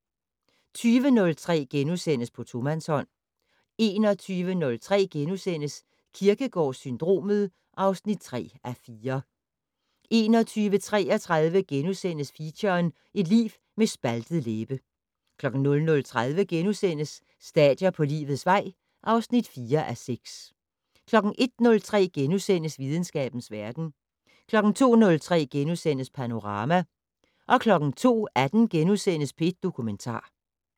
20:03: På tomandshånd * 21:03: Kierkegaard-syndromet (3:4)* 21:33: Feature: Et liv med en spaltet læbe * 00:30: Stadier på livets vej (4:6)* 01:03: Videnskabens verden * 02:03: Panorama * 02:18: P1 Dokumentar *